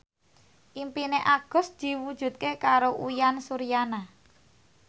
impine Agus diwujudke karo Uyan Suryana